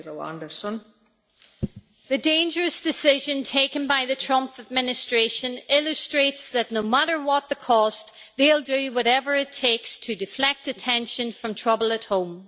Madam President, the dangerous decision taken by the Trump administration illustrates that no matter what the cost, they will do whatever it takes to deflect attention from trouble at home.